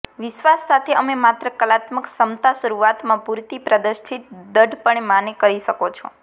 વિશ્વાસ સાથે અમે માત્ર કલાત્મક ક્ષમતા શરૂઆતમાં પૂરતી પ્રદર્શિત દ્રઢપણે માને કરી શકો છો